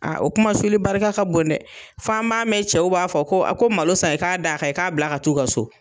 o kumasuli barika ka bon dɛ, f'an b'a mɛn cɛw b'a fɔ, ko ko malo san, i k'a d'a kan, a k'a bila ka taa u ka so.